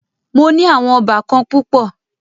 Mó ní àwọn óbàkan púpọ̀.